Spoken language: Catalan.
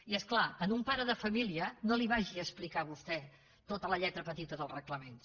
i és clar a un pare de família no li vagi a explicar vostè tota la lletra petita dels reglaments